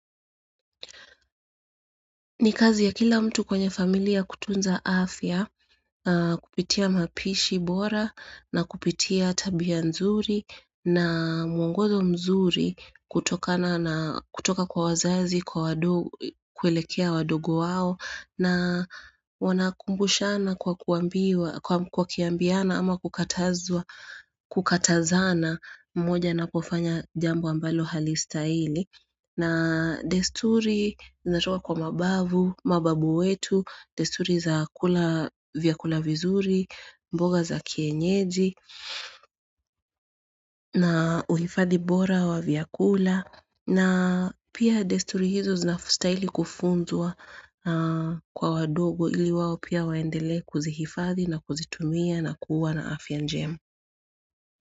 Ni kazi ya kila mtu kwenye familia kutunza afya, kupitia mapishi bora, na kupitia tabia nzuri, na mwongozo mzuri kutoka kwa wazazi, kwelekea wadogo wao, na wanakumbushana kwa kiambiana ama kukatazana mmoja na kufanya jambo ambalo halistahili. Na desturi zinatoka kwa mababu, mababu wetu, desturi za kula vyakula vizuri, mboga za kienyeji, na uhifadhi bora wa vyakula. Na pia desturi hizo zinastahili kufunzwa kwa wadogo ili wao pia waendelee kuzihifadhi na kuzitumia na kuwa na afya njema.